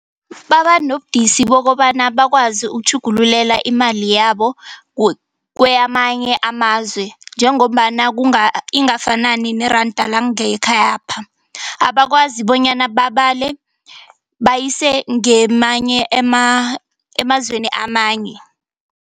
Baba nobudisi bokobana bakwazi ukutjhugululela imali yabo kweyamanye amazwe. Njengombana kunga ingafanani neranda langekhayapha. Abakwazi bonyana babale bayise ngemanye emazweni amanye.